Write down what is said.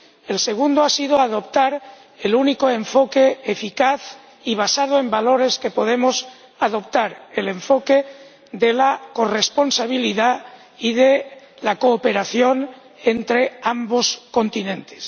El segundo ha sido adoptar el único enfoque eficaz y basado en valores que podemos adoptar el enfoque de la corresponsabilidad y de la cooperación entre los dos continentes.